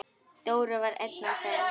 Dóri var einn af þeim.